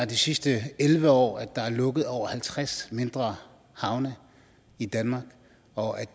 de sidste elleve år er lukket over halvtreds mindre havne i danmark og